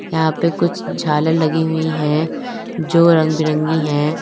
यहां पे कुछ झालर लगी हुई है जो रंग बिरंगी है।